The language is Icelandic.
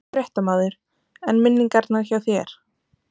Fréttamaður: En minningarnar hjá þér?